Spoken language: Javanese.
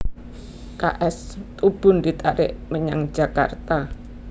K S Tubun ditarik menyang Jakarta